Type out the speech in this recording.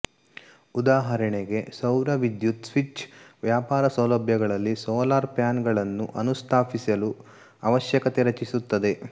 ಉದಾಹರಣೆಗೆ ಸೌರ ವಿದ್ಯುತ್ ಸ್ವಿಚ್ ವ್ಯಾಪಾರ ಸೌಲಭ್ಯಗಳಲ್ಲಿ ಸೋಲಾರ್ ಪ್ಯಾನಲ್ಗಳನ್ನು ಅನುಸ್ಥಾಪಿಸಲು ಅವಶ್ಯಕತೆ ರಚಿಸುತ್ತದೆ